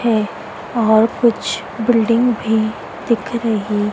है और कुछ बिल्डिंग भी दिख रही--